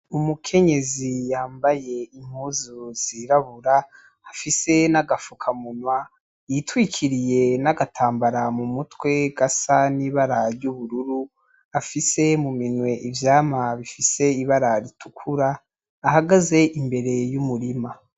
Umukenyezi yambaye impuzu zirabura afise naga fuka munwa yitwikiriye n'agatambara mumutwe gasa n'ibara ry'ubururu afise mu minwe ivyamwa bifise ibara ritukura ahagaze imbere y'umurima